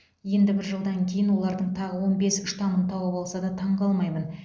енді бір жылдан кейін олардың тағы он бес штамын тауып алса да таңғалмаймын